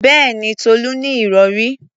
Bẹ́ẹ̀mi, Tolú ní ìrọ̀rí.